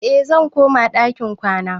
Eh, zan koma ɗakin kwana